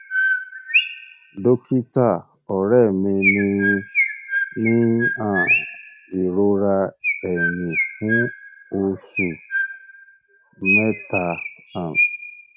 dókítà ọrẹ mi ti ń ní um ìrora ẹyìn fún oṣù um mẹta um